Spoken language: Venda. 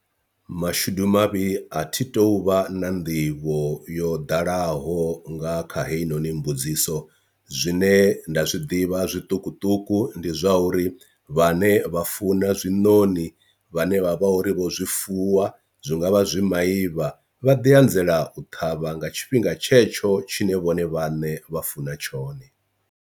Mashudu mavhi a thi tu vha na nḓivho yo ḓalaho nga kha heyinoni mbudziso zwine nda zwiḓivha zwiṱukuṱuku ndi zwa uri vhane vha funa zwinoni vhane vha vha uri vho zwi fuwa zwi ngavha zwi maivha vha ḓi anzela u ṱhavha nga tshifhinga tshetsho tshine vhone vhane vha funa tshone.